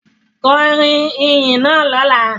Kọrin iyin naa lọla!